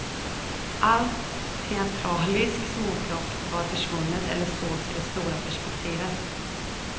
Allt teatraliskt småplock var försvunnet eller sågs i det stora perspektivet.